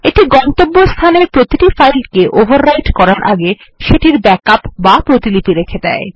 এটি গন্তব্যস্থানের প্রতিটি ফাইলকে ওভাররাইট করার আগে সেটির ব্যাকআপ বা প্রতিলিপি রেখে দেয়